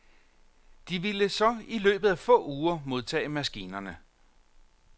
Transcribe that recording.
De ville så i løbet af få uger modtage maskinerne.